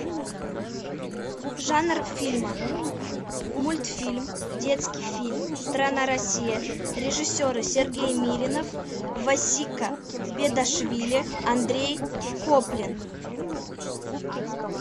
жанр фильма мультфильм детский фильм страна россия режиссеры сергей миринов васика бедашвили андрей коплин